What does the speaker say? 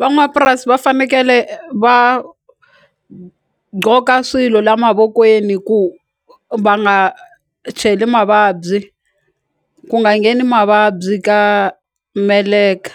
Van'wapurasi va fanekele va gqoka swilo la mavokweni ku va nga cheli mavabyi ku nga ngheni mavabyi ka meleka